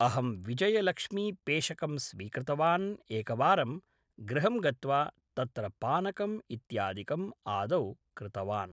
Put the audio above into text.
अहं विजयलक्ष्मीपेषकं स्वीकृतवान् एकवारं गृहं गत्वा तत्र पानकम् इत्यादिकम् आदौ कृतवान्